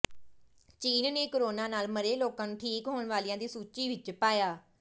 ਚੀਨ ਨੇ ਕੋਰੋਨਾ ਨਾਲ ਮਰੇ ਲੋਕਾਂ ਨੂੰ ਠੀਕ ਹੋਣ ਵਾਲਿਆਂ ਦੀ ਸੂਚੀ ਵਿਚ ਪਾਇਆ